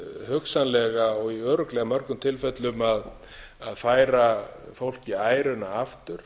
hugsanlega og í örugglega mörgum tilfellum að færa fólki æruna aftur